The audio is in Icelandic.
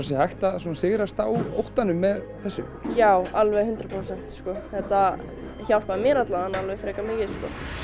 sé hægt að sigrast á óttanum með þessu já alveg hundrað prósent þetta hjálpaði mér frekar mikið